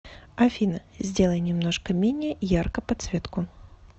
афина сделай немножко менее ярко подсветку